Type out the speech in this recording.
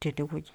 tene wueji.